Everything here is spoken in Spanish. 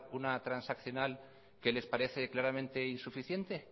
una transaccional que les parece claramente insuficiente